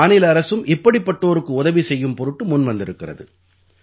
மாநில அரசும் இப்படிப்பட்டோருக்கு உதவி செய்யும் பொருட்டு முன்வந்திருக்கிறது